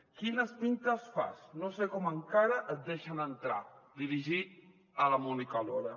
quines pintes fas no sé com encara et deixen entrar dirigit a la mónica lora